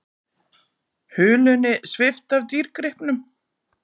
Hulunni svipt af dýrgripnum